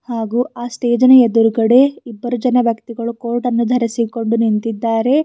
ಹಾಗು ಆ ಸ್ಟೇಜಿ ನ ಎದುರುಗಡೆ ಇಬ್ಬರು ಜನ ವ್ಯಕ್ತಿಗಳು ಕೋಟ್ ಅನ್ನು ಧರಸಿಕೊಂಡು ನಿಂತಿದ್ದಾರೆ.